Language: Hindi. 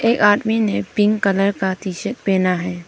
एक आदमी ने पिंक कलर का टी शर्ट पहना है।